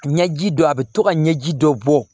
Ɲɛji dɔ a bɛ to ka ɲɛji dɔ bɔ